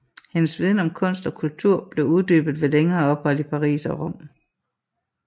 Hendes viden om kunst og kultur blev uddybet ved længere ophold i Paris og Rom